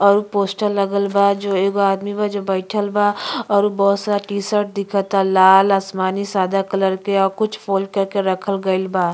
और वो पोस्टर लागल बा जो एगो आदमी बा जो बैठल बा और बहुत सारा टी-शर्ट लाल आसमानी सदा कलर के अ कुछ फोल्ड करके रखल गइल बा।